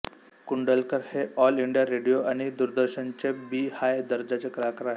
कुंडलकर हे all India radio आणि दूरदर्शनचे बी हाय दर्जाचे कलाकार आहेत